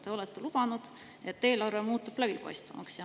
Te olete lubanud, et eelarve muutub läbipaistvamaks.